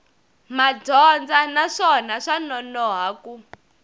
madyondza naswona swa nonoha ku